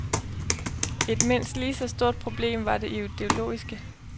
Et mindst lige så stort problem var det ideologiske.